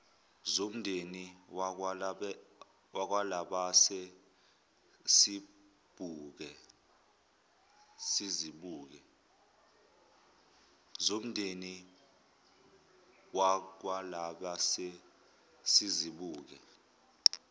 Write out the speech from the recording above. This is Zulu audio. zomndeni wakwalabase sizibuke